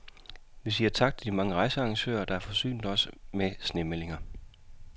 Vi siger tak til de mange rejsearrangører, der har forsynet os med snemeldinger.